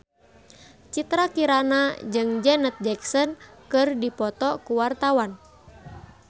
Citra Kirana jeung Janet Jackson keur dipoto ku wartawan